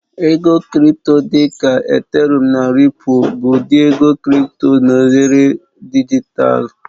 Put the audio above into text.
Ego Crị́pto dị ka Ethereụ́m na Ripụ́l bụ ụdị ego crị́pto na oghere dijitalụ.